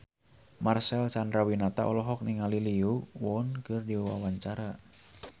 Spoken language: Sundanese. Marcel Chandrawinata olohok ningali Lee Yo Won keur diwawancara